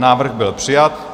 Návrh byl přijat.